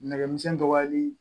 Nɛgɛmisɛnnin dɔgɔyali